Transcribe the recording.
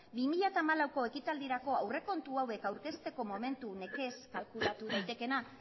bi mila hamalauko ekitaldirako aurrekontua hauek aurkezteko momentu nekez kalkulatu daitekeena